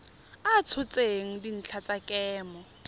a tshotseng dintlha tsa kemo